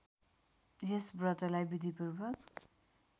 यस व्रतलाई विधिपूर्वक